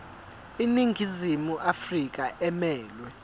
iningizimu afrika emelwe